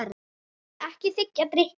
Ekki þiggja drykki.